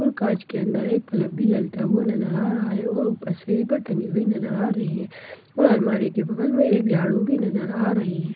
उन कांच के अंदर एक बल्ब भी जलता हुआ नजर आ रहा है और ऊपर सीलिंग में टंगी हुई नजर आ रही है और अलमारी के ऊपर एक झाड़ू भी नजर आ रही है--